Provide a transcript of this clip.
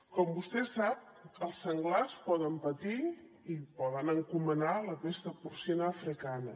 com vostè sap els senglars poden patir i poden encomanar la pesta porcina africana